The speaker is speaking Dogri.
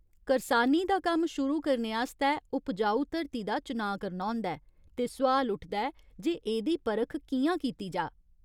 करसानी दा कम्म शुरू करने आस्तै उपजाऊ धरती दा चुनाऽ करना होंदा ऐ ते सुआल उठदा ऐ जे एह्दी परख कि'यां कीती जाऽ?